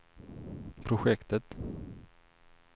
projektet